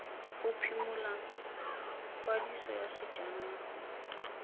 go phimola kwadiso ya sejanaga